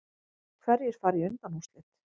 Hverjir fara í undanúrslit